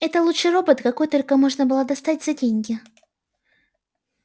это лучший робот какой только можно было достать за деньги